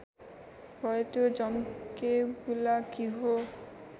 भए त्यो झम्केबुलाकी हो